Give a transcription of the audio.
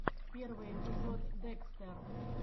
первый эпизод декстер